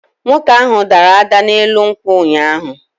Nwoke ahu dara da n'elu nkwụ ụnyahụ